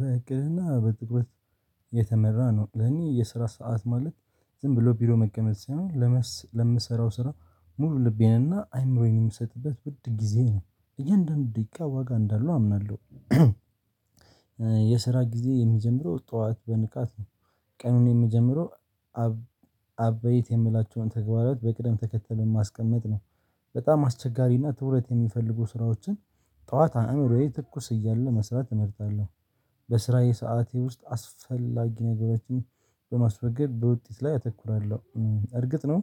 በእቅድና በትኩረት የተመራ ነው። ለእኔ የስራ ሰዓት ማለት ዝም ብሎ ቢሮ መቀመጥ ሳይሆን፣ ለምሰራው ስራ ሙሉ ልቤንና አእምሮዬን የምሰጥበት ውድ ጊዜ ነው። እያንዳንዱ ደቂቃ ዋጋ እንዳለው አምናለሁ። የስራ ጊዜ የሚጀምረው ጠዋት በንቃት ነው። ቀኑን የምጀምረው ዐበይት የምላቸውን ተግባራት በቅደም ተከተል በማስቀመጥ ነው። በጣም አስቸጋሪና ትኩረት የሚፈልጉ ስራዎችን፣ ጠዋት አእምሮዬ ትኩስ እያለ መስራት እመርጣለሁ። በስራዬ ሰዓት ውስጥ የማያስፈልጉ ነገሮችን በማስወገድ በውጤት ላይ አተኩራለሁ። እርግጥ ነው፣